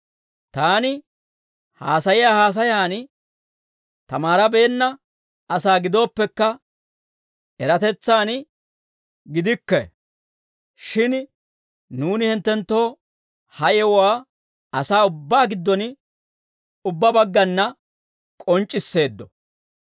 Taani haasayiyaa haasayan tamaarabeenna asaa gidooppekka, eratetsan gidikke; shin nuuni hinttenttoo ha yewuwaa asaa ubbaa giddon ubbaa baggana k'onc'c'isseeddo.